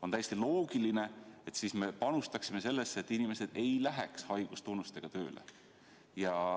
On täiesti loogiline, et me panustaksime sellesse, et inimesed ei läheks haigustunnustega tööle.